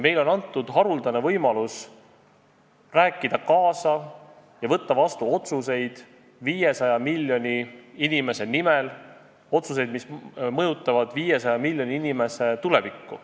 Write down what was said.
Meile on antud haruldane võimalus rääkida kaasa ja võtta vastu otsuseid 500 miljoni inimese nimel, otsuseid, mis mõjutavad 500 miljoni inimese tulevikku.